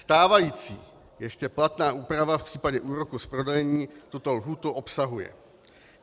Stávající ještě platná úprava v případě úroků z prodlení tuto lhůtu obsahuje.